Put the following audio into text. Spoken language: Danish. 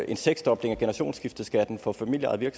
en seksdobling af generationsskifteskatten for familieejede